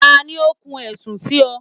tali o kún ẹ̀sùn si ọ?